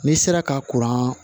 N'i sera ka kuran